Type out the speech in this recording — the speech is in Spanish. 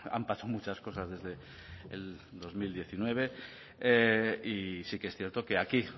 han pasado muchas cosas desde el dos mil diecinueve y sí que es cierto que aquí